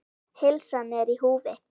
Heilsan er í húfi.